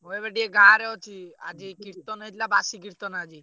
ମୁଁ ଏବେ ଟିକେ ଗାଁରେ ଆଜି କୀର୍ତ୍ତନ ହେଇଥିଲା ବାସି କୀର୍ତ୍ତନ ଆଜି।